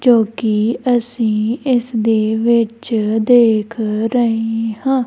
ਜੋ ਕਿ ਅਸੀ ਇਸ ਦੇ ਵਿੱਚ ਦੇਖ ਰਹੇ ਹਾਂ।